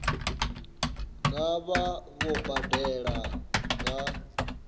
nga vha vho badela nga